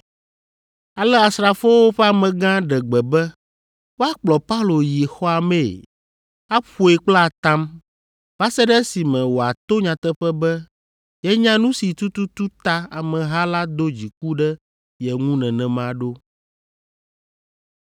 Ale asrafowo ƒe amegã ɖe gbe be woakplɔ Paulo yi xɔa mee, aƒoe kple atam va se ɖe esime wòato nyateƒe be yenya nu si tututu ta ameha la do dziku ɖe ye ŋu nenema ɖo.